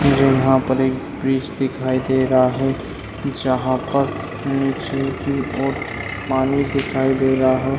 मुझे यहां पर एक ब्रिज दिखाई दे रहा है जहां पर नीचे की और पानी दिखाई दे रहा है।